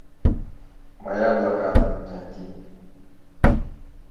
моя блокада найти